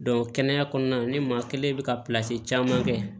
kɛnɛya kɔnɔna na ne maa kelen bɛ ka pilasi caman kɛ